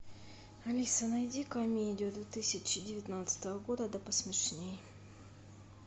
алиса найди комедию две тысячи девятнадцатого года да посмешней